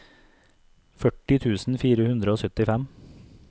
førti tusen fire hundre og syttifem